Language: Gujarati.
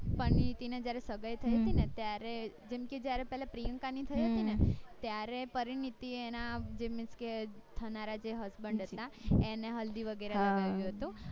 પરીનીતી ને જયારે સગાઇ થય હતી ને ત્યારે જેમ કે જયારે પ્રિયંકા ની થય હતી ને ત્યારે પરીનીતી એ એના જે means કે એના જે husband હતા એને હલ્દી વગેરા હતો